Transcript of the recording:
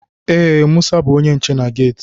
Ee, Musa bú onye nche na geeti